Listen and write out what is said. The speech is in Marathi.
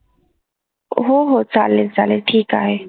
हो हो. चालेल चालेल. ठीक आहे.